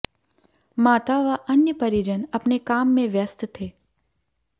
माता व अन्य परिजन अपने काम में व्यस्त थे